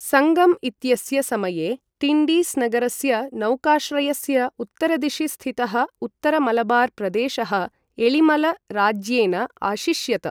सङ्गम् इत्यस्य समये टिण्डिस् नगरस्य नौकाश्रयस्य उत्तरदिशि स्थितः उत्तर मलबार् प्रदेशः एळिमल राज्येन अशिष्यत।